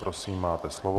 Prosím, máte slovo.